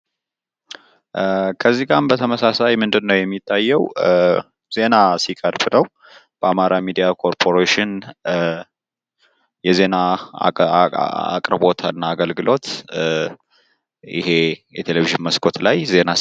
ከዚጋም በተመሳሳይ ምንድነው የሚታየው ፤ ዜና ሲቀርብ ነው። በአማራ ሚዲያ ኮርፖሬሽን የዜና አቅርቦት እና አገልግሎት የቴሌቪዥን መስኮት ላይ